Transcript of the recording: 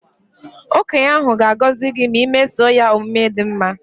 Okenye ahụ ga agọzị gị ma i mesoo ya omume dị mma